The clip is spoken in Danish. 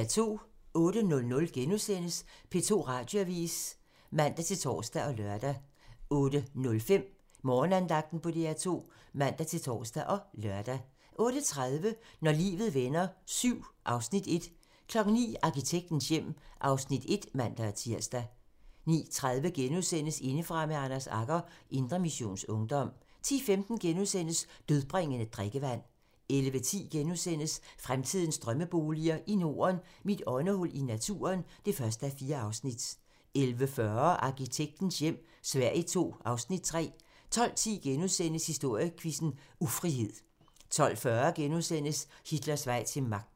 08:00: P2 Radioavis *(man-tor og lør) 08:05: Morgenandagten på DR2 (man-tor og lør) 08:30: Når livet vender VII (Afs. 1) 09:00: Arkitektens hjem (Afs. 1)(man-tir) 09:30: Indefra med Anders Agger - Indre Missions Ungdom * 10:15: Dødbringende drikkevand * 11:10: Fremtidens drømmeboliger i Norden: Mit åndehul i naturen (1:4)* 11:40: Arkitektens hjem - Sverige II (Afs. 3) 12:10: Historiequizzen: Ufrihed * 12:40: Hitlers vej til magten *